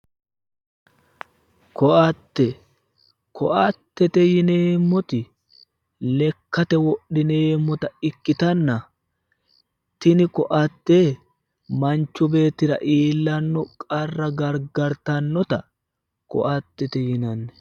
Ko'atte, ko'atete yineemoti lekkate wodhineemotta ikkitanna tinni ko'atte manchu beettira iilanno qarra garigartannota ko'atette yinanni.